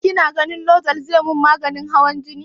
Kina ganin lozol zai min maganin hawan jini?